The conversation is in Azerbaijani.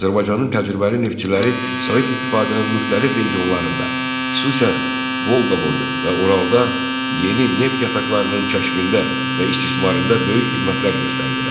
Azərbaycanın təcrübəli neftçiləri Sovet İttifaqının müxtəlif regionlarında, xüsusən Volqaboyu və Uralda yeni neft yataqlarının kəşfində və istismarında böyük xidmətlər göstərdilər.